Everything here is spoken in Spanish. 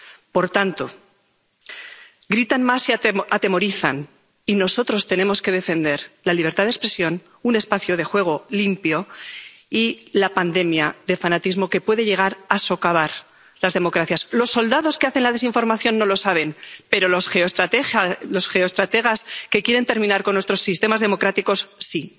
Por tanto, gritan más y atemorizan y nosotros tenemos que defender la libertad de expresión y un espacio de juego limpio y luchar contra la pandemia de fanatismo que puede llegar a socavar las democracias. Los soldados que hacen la desinformación no lo saben, pero los geoestrategas que quieren terminar con nuestros sistemas democráticos,